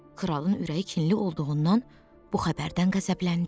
Kralın ürəyi kinli olduğundan bu xəbərdən qəzəbləndi.